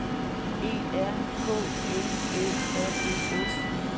E R K L Æ R E S